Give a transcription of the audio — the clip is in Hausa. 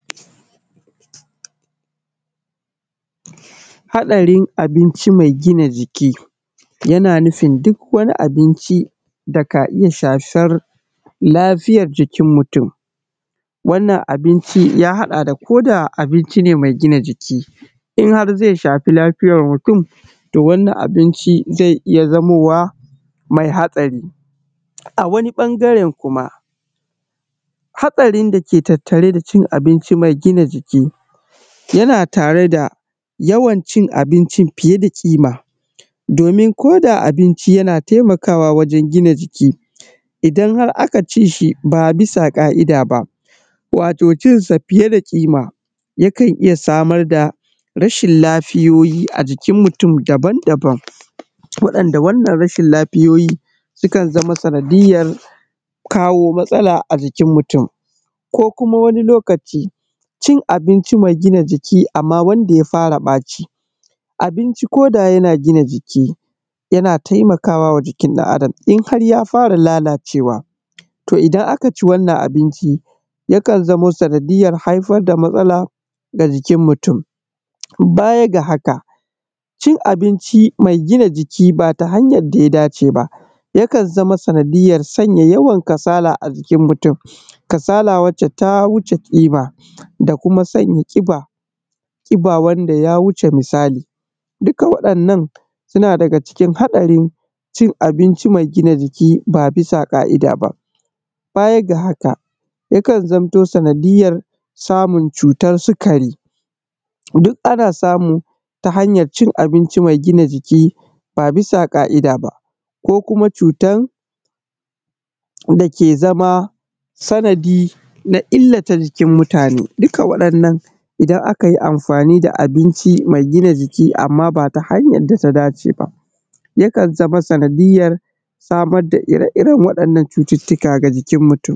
Hadarin abinci mai gina jiki yana nufi. Duk wani abinci da ka iya shafar lafiyar jikin mutim. Wannan abinci ya hada da ko da abinci ne mai gina jiki in har zai shafi lafiyar mutum wannan abinci zai iya zamowa mai haɗari. A wani ɓangaren kuma hatsari dake tattare da cun abunci.mai gina jiki yana tare da yawan cin abinci fiye da ƙima domin ko da abinci na taimakawa wajen gina jiki idan har aka ci ba bisa ka'ida ba. Wato cinsa fiye da ƙima yakan iya samar da rashi lafiyoyi a jiki daban-daban waɗanda wannan rashin lafiyiyoyi sukan yi sanadiyar kawo matsala a jikkn mutum. Wani lokaci cin qbinci mai gina jiki amma wanda ya fara ɓaci, abinci ko da yana gina jiki yana taimakawa jikin dan Adam, to idan aka ci wannan wannan abinci yakan haifar da sanadiyar matsala ga jikin mutum. Baya ga haka, cin abinci mai gina jiki ba ta hanyar da ya dace ba yakan zama sanadiyar sanya kasala a jikin mutum kasalar ta wuce ƙima da kuma sanya ƙiba wanda ya wuce misali. Dukka waɗannan daga ciki haɗari cin abincin da jiki ba bisa ka'ida baya ga haka yakan zamato sanadiyar samun cutar sikari, duka ana samu ta ha yar cin abunci mai gina jiki ba bisa ka'ida ba ko kuma cutar dake zama sanadi na illata jikin mutane. Dukka waɗannan idan aka yi amfani da abinci.mai gina jiki amma ba ta hanyar da tace ba yakan zama sanadiyar samar da ire-iren waɗannan cututtuka ga jikin mutum.